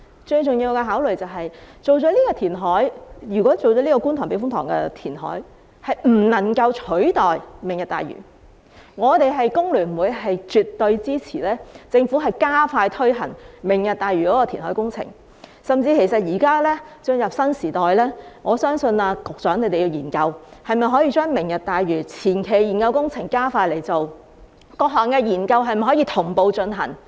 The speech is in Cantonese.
最重要的考慮是，如果在觀塘避風塘進行填海不能夠取代"明日大嶼"，我們工聯會絕對支持政府加快推行"明日大嶼"的填海工程，甚至現已進入新時代，我相信局長需研究，可否把"明日大嶼"的前期研究工程加快進行，以及各項研究可否同步進行。